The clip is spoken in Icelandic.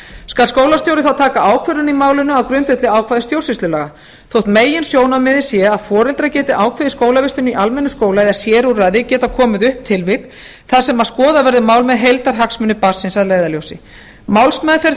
skal skólastjóri þá taka ákvörðun í málinu á grundvelli ákvæða stjórnsýslulaga þótt meginsjónarmiðið sé að foreldrar geti ákveðið skólavistun í almennum skóla eða sérúrræði geta komið upp tilvik þar sem skoðað verði mál með heildarhagsmuni barnsins að leiðarljósi málsmeðferð